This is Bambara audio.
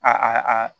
A a